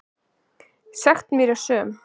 Sekt mín er söm.